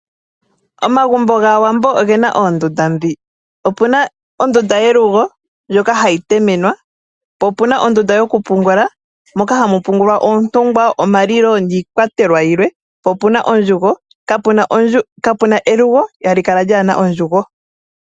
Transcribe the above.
Omagumbo gaawambo ogena oondunda ndhi opena ondunda yelugo ndjoka hayi temenwa, mo omuna ondunda yokupungula moka hamu pungulwa oontungwa, omalilo niikwatelwa yilwe, mo omuna ondjugo. Kapena elugo hali kala kaalina ondjugo.